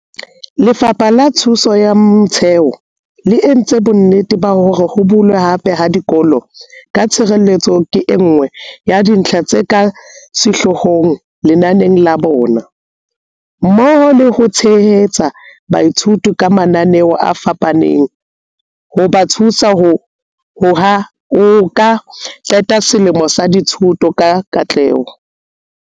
Lefapha la Thuto ya Motheo le entse bonnete ba hore ho bulwa hape ha dikolo ka tshireletseho ke enngwe ya dintlha tse ka sehloohong lenaneng la bona, mmoho le ho tshehetsa baithuti ka mananeo a fapafapaneng hoba thusa ho ka qeta selemo sa dithuto ka katleho.